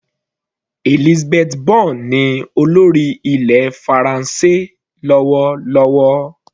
Elisabeth Borne ní olórí ilẹ̀ faransé lọ́wọ́lọ́wọ́.